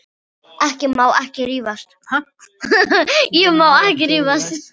Ég má ekki rífast.